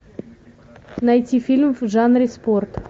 найти фильм в жанре спорт